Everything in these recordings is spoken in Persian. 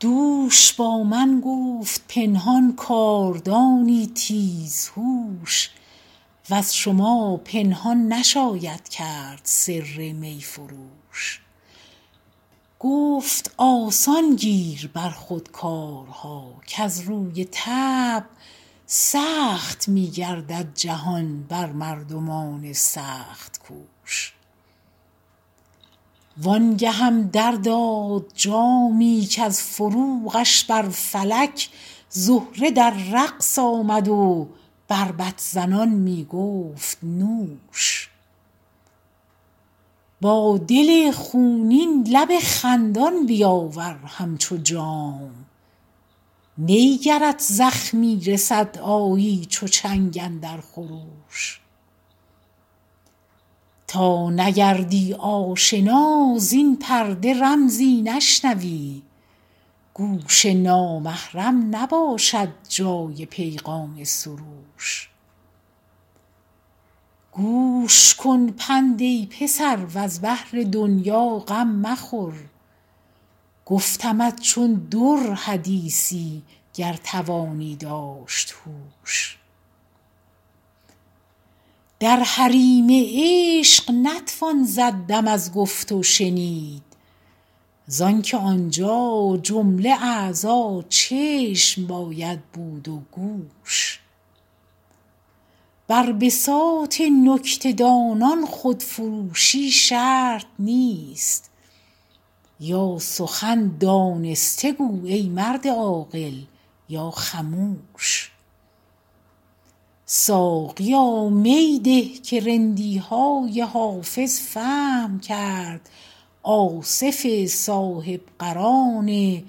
دوش با من گفت پنهان کاردانی تیزهوش وز شما پنهان نشاید کرد سر می فروش گفت آسان گیر بر خود کارها کز روی طبع سخت می گردد جهان بر مردمان سخت کوش وان گهم در داد جامی کز فروغش بر فلک زهره در رقص آمد و بربط زنان می گفت نوش با دل خونین لب خندان بیاور همچو جام نی گرت زخمی رسد آیی چو چنگ اندر خروش تا نگردی آشنا زین پرده رمزی نشنوی گوش نامحرم نباشد جای پیغام سروش گوش کن پند ای پسر وز بهر دنیا غم مخور گفتمت چون در حدیثی گر توانی داشت هوش در حریم عشق نتوان زد دم از گفت و شنید زان که آنجا جمله اعضا چشم باید بود و گوش بر بساط نکته دانان خودفروشی شرط نیست یا سخن دانسته گو ای مرد عاقل یا خموش ساقیا می ده که رندی های حافظ فهم کرد آصف صاحب قران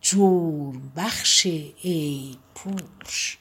جرم بخش عیب پوش